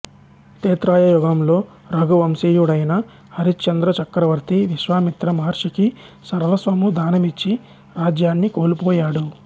త్రేతాయుగంలో రఘు వంశీయుడైన హరిశ్చంద్ర చక్రవర్తి విశ్వామిత్ర మహర్షికి సర్వస్వము దానమిచ్చి రాజ్యాన్ని కోల్పోయాడు